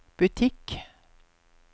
butikk